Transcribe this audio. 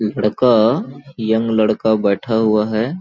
लड़का यंग लड़का बैठा हुआ है।